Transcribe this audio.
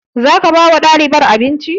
Zaka ba wa ɗaliban abinci?